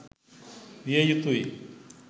විය යුතුයි.